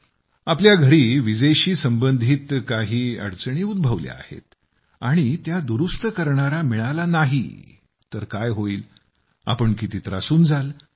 तुमच्या घरी विजेशी संबंधित काही अडचणी उद्भवल्या आहेत आणि त्या दुरुस्त करणारा भेटला नाही तर काय होईल तुम्ही किती त्रासून जाल